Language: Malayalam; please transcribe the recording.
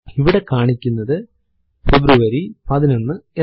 ഇവിടെ കാണിക്കുന്നത് ഫെബ്രുവരി 11 എന്നാണ്